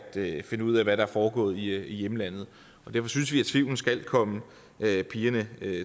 finde ud af hvad der er foregået i hjemlandet derfor synes vi at tvivlen skal komme pigerne